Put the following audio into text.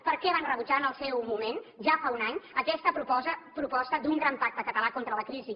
per què van rebutjar en el seu moment ja fa un any aquesta proposta d’un gran pacte català contra la crisi